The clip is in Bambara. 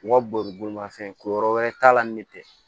U ka boli bolimafɛn ko yɔrɔ wɛrɛ t'a la ni ne tɛ